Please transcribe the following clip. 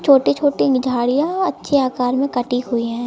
छोटी छोटी झाड़ियां अच्छे आकार में कटी हुई हैं।